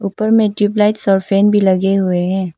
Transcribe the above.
ऊपर में tube lights का फैन भी लगे हुए हैं।